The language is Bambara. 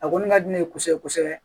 A kɔni ka di ne ye kosɛbɛ kosɛbɛ